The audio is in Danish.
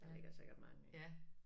Der ligger sikkert mange ik